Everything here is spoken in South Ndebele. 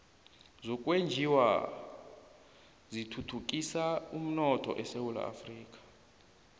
zokwenjiwa zithuthukisa umnotho esewula afrika